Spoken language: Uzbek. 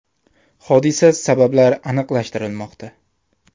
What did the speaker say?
Hodisa sabablari aniqlashtirilmoqda.